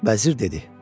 Vəzir dedi: